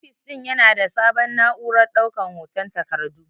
Ofis din Yana da sabon na'urar daukan hoton takardu.